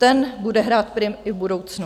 Ten bude hrát prim i v budoucnu.